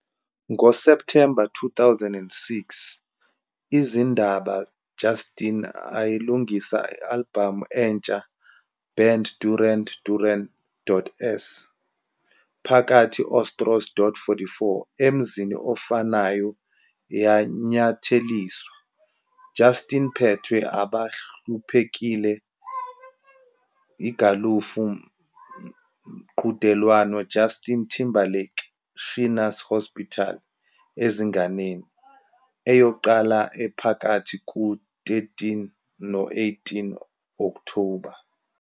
Ngo-September 2006, izindaba Justin ayelungisa albhamu entsha band Duran Duran.s, phakathi otros.44 emzini ofanayo yanyatheliswa, Justin phethwe abahluphekile igalofu mqhudelwano Justin Timberlake Shriners Hospitals Ezinganeni, eyaqala ephakathi kuka-13 no-18 Okthoba.